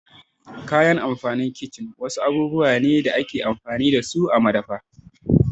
Kayan amfanin kicin wasu abubuwa ne da ake amfani dasu a madafi.